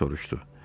deyə soruşdu.